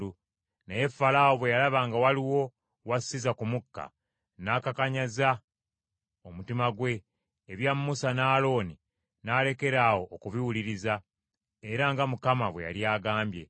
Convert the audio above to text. Naye Falaawo bwe yalaba nga waliwo wassiza ku mukka, n’akakanyaza omutima gwe, ebya Musa ne Alooni n’alekera awo okubiwuliriza, era nga Mukama bwe yali agambye.